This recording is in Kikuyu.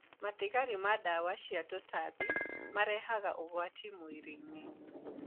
Matigari ma ndawa cia tũtambi marehaga ũgwati mwĩrĩinĩ.